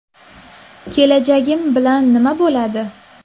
Kelajagim bilan nima bo‘ladi?